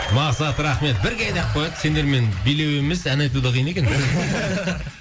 мақсат рахмет бірге деп қояды сендермен билеу емес ән айту да қиын екен